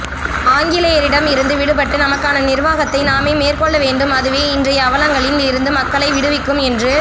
ஆங்கிலேயரிடம் இருந்து விடுபட்டு நமக்கான நிர்வாகத்தை நாமே மேற்கொள்ள வேண்டும் அதுவே இன்றைய அவலங்களில் இருந்து மக்களை விடுவிக்கும் என்று